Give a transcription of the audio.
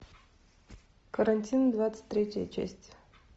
карантин двадцать третья часть